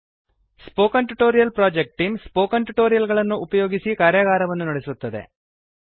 spoken tutorial project team spoken tutorial ಗಳನ್ನು ಉಪಯೋಗಿಸಿ ಕಾರ್ಯಗಾರವನ್ನು ನಡೆಸುತ್ತದೆ